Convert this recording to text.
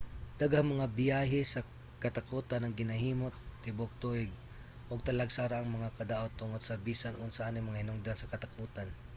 daghang mga biyahe sa katakotan ang ginahimo tibuok tuig ug talagsa ra ang mga kadaot tungod sa bisan unsa aning mga hinungdan sa katakotan